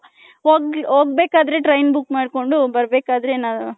ಹೊಗ್ಬೆಕ್ ಆದ್ರೆ train book ಮಾಡ್ಕೊಂಡು ಬರ್ಬೇಕಾದ್ರೆ .